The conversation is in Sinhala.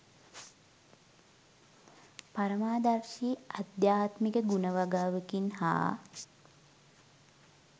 පරමාදර්ශී ආධ්‍යාත්මික ගුණ වගාවකින් හා